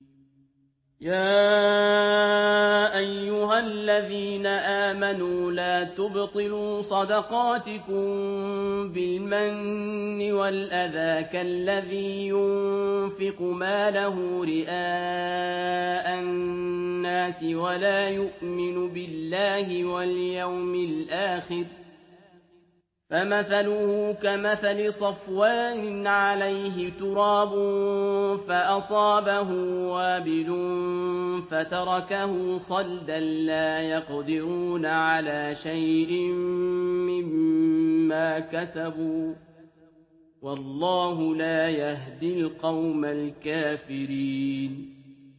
يَا أَيُّهَا الَّذِينَ آمَنُوا لَا تُبْطِلُوا صَدَقَاتِكُم بِالْمَنِّ وَالْأَذَىٰ كَالَّذِي يُنفِقُ مَالَهُ رِئَاءَ النَّاسِ وَلَا يُؤْمِنُ بِاللَّهِ وَالْيَوْمِ الْآخِرِ ۖ فَمَثَلُهُ كَمَثَلِ صَفْوَانٍ عَلَيْهِ تُرَابٌ فَأَصَابَهُ وَابِلٌ فَتَرَكَهُ صَلْدًا ۖ لَّا يَقْدِرُونَ عَلَىٰ شَيْءٍ مِّمَّا كَسَبُوا ۗ وَاللَّهُ لَا يَهْدِي الْقَوْمَ الْكَافِرِينَ